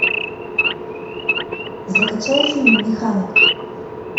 закачай фильм механик